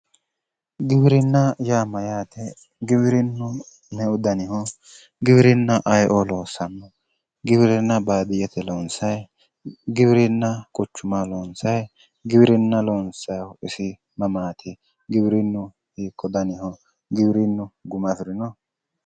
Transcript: Giwirinna yaa Mayyaate. Giwirinnu meu daniho giwirinna ayeo loosanno ? Giwirinna badiyyete lonisay giwirinna quchumaho lonisay giwirinna lonisayihu isi mamaat? Giwirinnu hiikko daniho? Giwirinnu guma afirino?